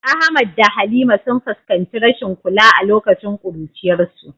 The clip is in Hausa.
Ahmad da Halima sun fuskanci rashin kula a lokacin kuruciyarsu.